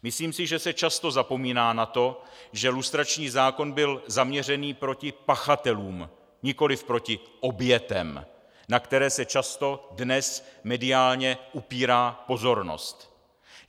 Myslím si, že se často zapomíná na to, že lustrační zákon byl zaměřen proti pachatelům, nikoliv proti obětem, na které se často dnes mediálně upírá pozornost.